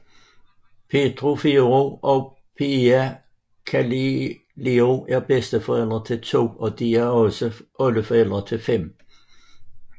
Pietro Ferrero og Piera Cillario er bedsteforældre til to og de er også oldeforældre til 5